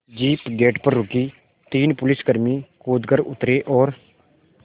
jeep gate पर रुकी तीन पुलिसकर्मी कूद कर उतरे और